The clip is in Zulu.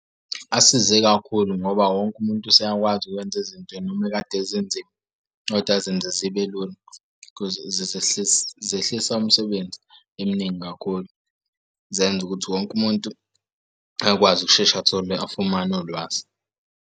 Asize kakhulu ngoba wonke umuntu useyakwazi ukwenza izinto noma ekade zinzima koda azenze zibe lula cause zehlise umsebenzi eminingi kakhulu. Zenza ukuthi wonke umuntu akwazi ukushesha athole afumane ulwazi.